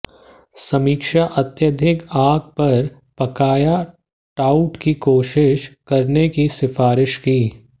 समीक्षा अत्यधिक आग पर पकाया ट्राउट की कोशिश करने की सिफारिश की